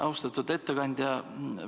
Austatud ettekandja!